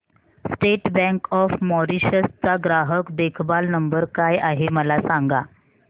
state bank of Mauritius चा ग्राहक देखभाल नंबर काय आहे मला सांगा